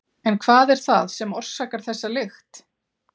En hvað er það sem orsakar þessa lykt?